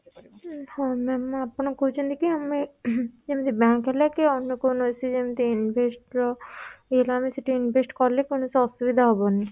ହୁଁ ହଁ ma'am ଆପଣ କହୁଛନ୍ତି କି ଯେମିତି bank ହେଲା କି ଅନ୍ୟ କୌଣସି ଯେମିତି invest ର invest କଲେ କୌଣସି ଅସୁବିଧା ହବନି